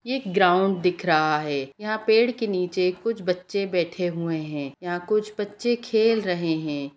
एक ग्राउंड दिख रहा है यहाँ पेड़ के नीचे कुछ बच्चे बैठे हुए हैं यहाँ कुछ बच्चे खेल रहे हैं।